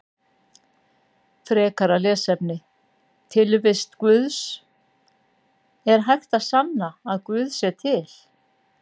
Frekara lesefni: Tilvist Guðs Er hægt að sanna að guð sé til?